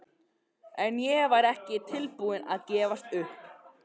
En ég var ekki tilbúin að gefast upp.